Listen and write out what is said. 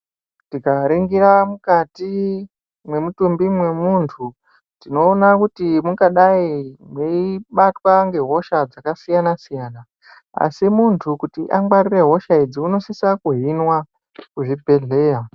Tika ningira mukati mwe mutumbi mwe muntu tinoona kuti mungadai mwei batwa nge hosha dzaka siyana siyana asi kuti muntu angwarire hosha idzi unosisa ku hinwa ku zvibhedhleya.